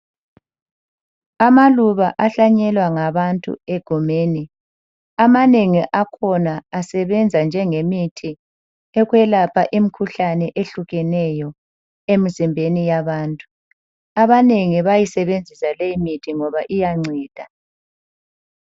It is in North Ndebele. Amaluba ahlanyelwa ngabantu egumeni amanengi akhona asebenza njengemithi ekwelapha imikhuhlane ehlukeneyo emzimbeni yabantu. Abanengi bayisebenzisa leyi mithi ngoba iyanceda.